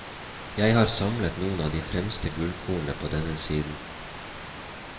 Jeg har samlet noen av de fremste gullkornene på denne siden.